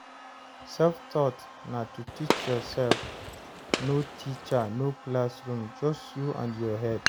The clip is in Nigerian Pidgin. Self-taught na to teach yourself, no teacher, no classroom, just you and your head